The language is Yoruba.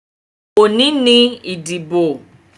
Òní ni ìdìbò.